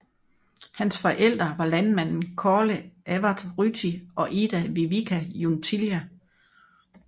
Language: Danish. Hans forældre var landmanden Kaarle Evert Ryti og Ida Vivika Junttila